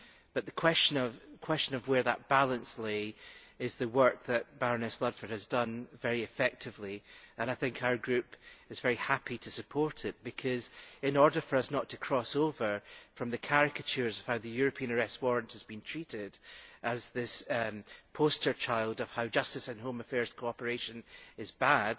But the question of where that balance lay is the work that Baroness Ludford has done very effectively, and our Group is very happy to support it because, in order for us cross over from the caricatures of how the European Arrest Warrant has been treated as a poster child of how justice and home affairs cooperation is bad